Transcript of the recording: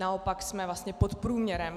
Naopak jsme vlastně pod průměrem.